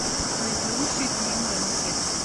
найти лучшие фильмы жанра детский